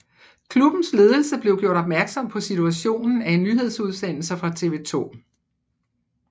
Klubbens ledelse blev gjort opmærksom på situationen af en nyhedsudsendelse fra TV 2